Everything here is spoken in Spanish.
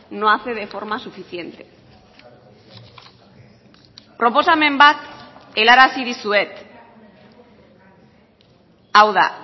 no hace de forma suficiente proposamen bat helarazi dizuet hau da